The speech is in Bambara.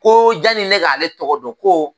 Ko janni ne k'ale tɔgɔ dɔn ko